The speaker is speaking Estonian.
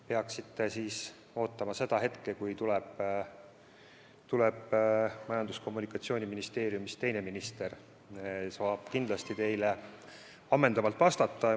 Peaksite ootama hetke, kui saali tuleb Majandus- ja Kommunikatsiooniministeeriumist vastama teine minister, tema oskab kindlasti teile ammendavalt vastata.